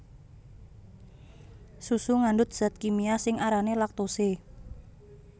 Susu ngandhut zat kimia sing arané laktose